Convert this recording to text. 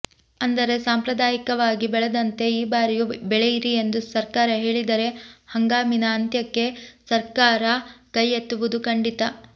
ಅಂದರೆ ಸಾಂಪ್ರದಾಯಿಕವಾಗಿ ಬೆಳೆದಂತೆ ಈ ಬಾರಿಯೂ ಬೆಳೆಯಿರಿ ಎಂದು ಸರ್ಕಾರ ಹೇಳಿದರೆ ಹಂಗಾಮಿನ ಅಂತ್ಯಕ್ಕೆ ಸರ್ಕಾರ ಕೈ ಎತ್ತುವುದು ಖಂಡಿತ